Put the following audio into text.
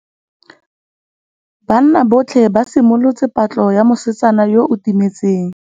Banna botlhê ba simolotse patlô ya mosetsana yo o timetseng.